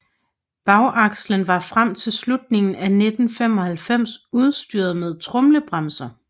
Bagakslen var frem til slutningen af 1995 udstyret med tromlebremser